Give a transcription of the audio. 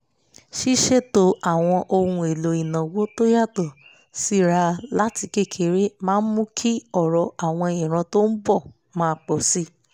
ṣíṣètò àwọn ohun èlò ìnáwó tó yàtọ̀ síra láti kékeré máa mú kí ọrọ̀ àwọn ìran tó ń bọ̀ máa pọ̀ sí i